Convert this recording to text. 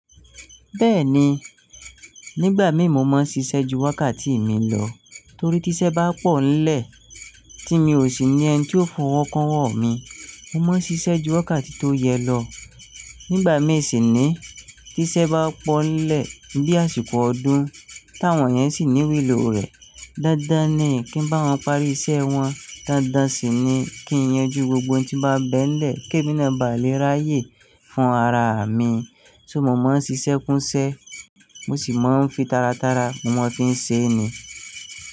Bẹ́ẹ̀ni, nígbà mi mo máa ń ṣiṣẹ́ ju wákàtí mi lọ torí tí iṣẹ́ bá pọ̀ńlẹ̀ tí mi ò sì ní ẹni tí ó fọwọ́ kun owọ́ mí, mo má ń ṣiṣẹ́ ju wákàtí tó yẹ lọ. Nígbà mi sì ni tí iṣẹ́ bá pọ̀ńlẹ̀ bí àsìkò ọdún táwọn yẹn sì ní lìlò rẹ̀. Dándán ni kí ń bá wọn parí iṣẹ́ wọn, dádá sì ni kí yànjú gbogbo tí ó bá bẹ́ nlẹ̀ kí èmi náà ba lè ráyè fún ara mi. So mo máa ń ṣiṣẹ́ kún ṣẹ́, mo sì máa ń fi tara tara mo máa fi ń ṣe ni.